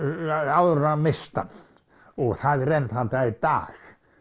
áður en hún missti hann og það er enn þann dag í dag